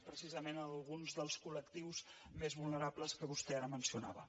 precisament alguns dels col·més vulnerables que vostè ara mencionava